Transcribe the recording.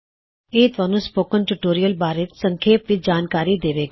ਇਹ ਤੁਹਾਨੂੰ spoken tutorial ਬਾਰੇ ਸੰਖੇਪ ਵਿੱਚ ਜਾਣਕਾਰੀ ਦਵੇਗਾ